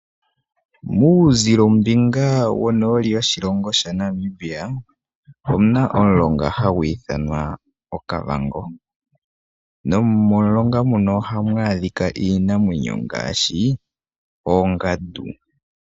Muuzilo mbinga wonooli woshilongo shaNamibia omuna omulonga hagu ithanwa Okavango nomomulonga muka ohamu adhika iinamwenyo ngaashi oongandu.